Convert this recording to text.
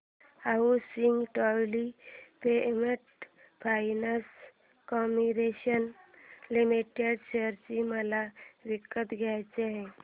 housing development finance corporation limited share मला विकत घ्यायचे आहेत